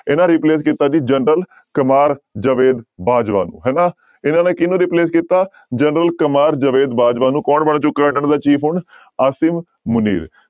ਇਹਨਾਂ replace ਕੀਤਾ ਜੀ ਜਨਰਲ ਕਮਾਰ ਜਵੇਦ ਬਾਜਵਾ ਨੂੰ ਹਨਾ ਇਹਨਾਂ ਨੇ ਕਿਹਨੂੰ replace ਕੀਤਾ ਜਨਰਲ ਕਮਾਰ ਜਵੇਦ ਬਾਜਵਾ ਨੂੰ ਕੌਣ ਬਣ ਚੁੱਕਾ ਇਹਨਾਂ ਦਾ chief ਹੁਣ ਅਸੀਮ ਮੁਨੀਰ।